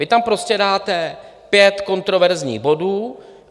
Vy tam prostě dáte pět kontroverzních bodů.